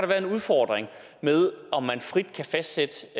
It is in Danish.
være en udfordring med om man frit kan fastsætte